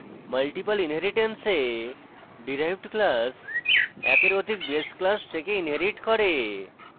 multiple inheritance এ derived class একের অধিক base class থেকে inherits করে